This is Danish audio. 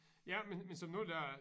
Ja men men som nu da